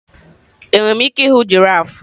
Enwere m ike ịhụ giraf?